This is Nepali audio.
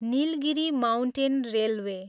Nilgiri mountain railway